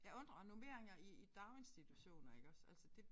Jeg undrer og normeringer i i daginstitutioner iggås altså det